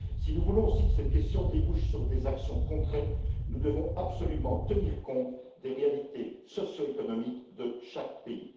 Si nous voulons aussi que cette question débouche sur des actions concrètes, nous devons absolument tenir compte des réalités socio économiques de chaque pays.